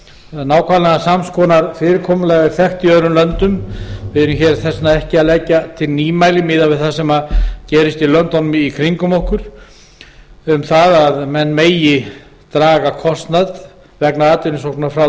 nákvæmlega sams konar fyrirkomulag er þekkt í öðrum löndum við erum því þess vegna ekki að leggja til nýmæli miðað við það sem gerist í löndunum í kringum okkur um að menn megi draga kostnað vegna atvinnusóknar frá